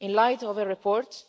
In light of her report,